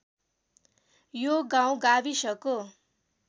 यो गाउँ गाविसको